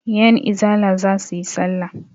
Yanizala za su yi salla.